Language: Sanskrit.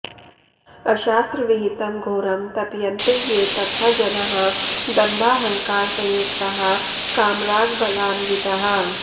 अशास्त्रविहितं घोरं तप्यन्ते ये तपः जनाः दम्भाहङ्कारसंयुक्ताः कामरागबलान्विताः